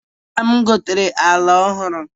Nna m gotere ala ọhụrụ.